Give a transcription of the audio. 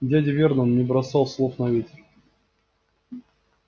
дядя вернон не бросал слов на ветер